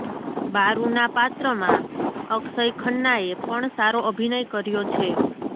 બારૂના પાત્રમાં અક્ષય ખન્નાએ પણ સારો અભિનય કર્યો છે